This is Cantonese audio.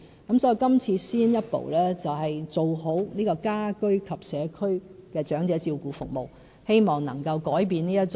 因此，這次先一步做好家居及社區的長者照顧服務，希望能夠改變現狀。